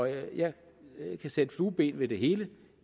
jeg kan sætte flueben ved det hele